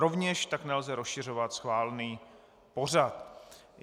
Rovněž tak nelze rozšiřovat schválený pořad.